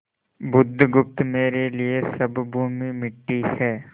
बुधगुप्त मेरे लिए सब भूमि मिट्टी है